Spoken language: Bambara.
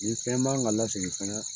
Nin fɛn man ka lasegin fɛnɛ